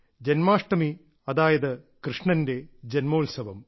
ജന്മാഷ്ടമി അതായത് കൃഷ്ണന്റെ ജന്മോത്സവം